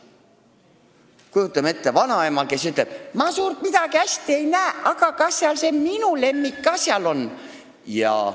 Kujutame ette vanaema, kes ütleb: "Ma suurt midagi ei näe, aga kas see minu lemmik ka seal on?